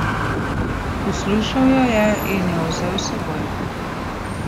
Poslušal jo je in jo vzel s seboj.